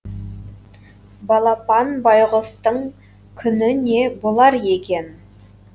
балапан байғұстың күні не болар екен